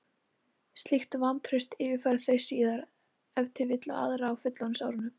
Slíkt vantraust yfirfæra þau síðan ef til vill á aðra á fullorðinsárunum.